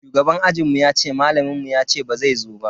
Shugaban ajinmu yace malamin mu yace bazai zo ba.